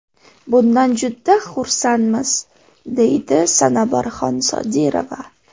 Bundan juda xursandmiz”, – deydi Sanobarxon Sodirova.